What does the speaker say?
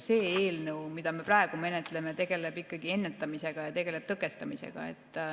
See eelnõu, mida me praegu menetleme, tegeleb ennetamise ja tõkestamisega.